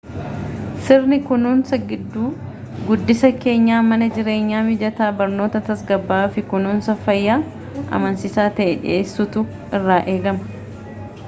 sirni kunuunsa guddisa keenyaa mana jireenyaa mijataa barnoota tasgabbaa'aa fi kunuunsa fayyaa amansiisaa ta'e dhiyeessuutu irraa eegama